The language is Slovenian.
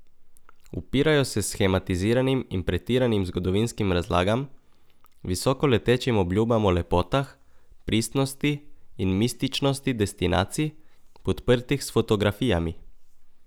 Upirajo se shematiziranim in pretiranim zgodovinskim razlagam, visokoletečim obljubam o lepotah, pristnosti in mističnosti destinacij, podprtih s fotografijami.